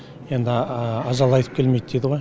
енді ажал айтып келмейді дейді ғой